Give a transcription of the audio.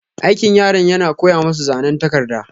Aikin yaran yana koya masu zanan takarda.